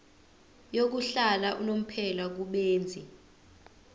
yokuhlala unomphela kubenzi